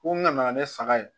Ko n nana ne saga ye